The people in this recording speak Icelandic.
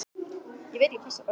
Þorvaldur, viltu hoppa með mér?